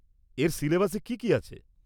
এর সিলেবাসে কী কী আছে?